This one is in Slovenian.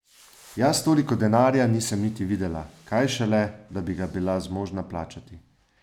Jaz toliko denarja nisem niti videla, kaj šele, da bi ga bila zmožna plačati.